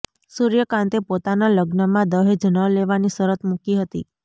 સૂર્યકાંતે પોતાના લગ્નમાં દહેજ ન લેવાની શરત મૂકી હતી